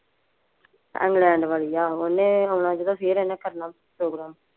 England ਵਾਲੀ, ਆਹੋ ਉਹਨੇ ਆਉਣਾ ਜਦੋਂ ਫੇਰ ਇਹਨੇ ਕਰਨਾ ਪ੍ਰੋਗਰਾਮ